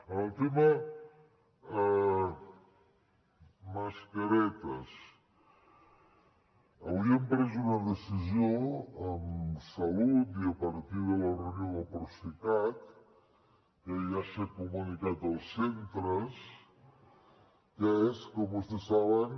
en el tema mascaretes avui hem pres una decisió amb salut i a partir de la reunió del procicat que ja s’ha comunicat als centres que és com vostès saben